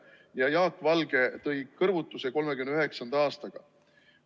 Jaak Valge kõrvutas 1939. aastaga.